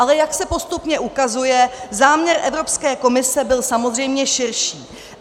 Ale jak se postupně ukazuje, záměr Evropské komise byl samozřejmě širší.